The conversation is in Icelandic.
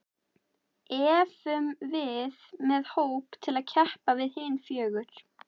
Efum við með hóp til að keppa við hin fjögur?